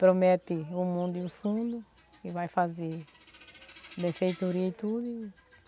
Promete o mundo e o fundo e vai fazer e tudo.